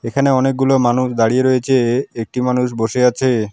এখানে অনেকগুলো মানুষ দাঁড়িয়ে রয়েছে একটি মানুষ বসে আছে।